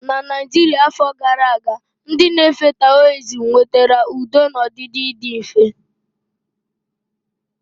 Na Naijiria afọ gara aga, ndị na-efe Taoism nwetara udo na ọdịdị na ịdị mfe.